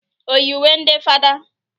Oyi uwe ndị fada?